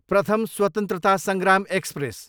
प्रथम स्वत्रन्तता सङ्ग्राम एक्सप्रेस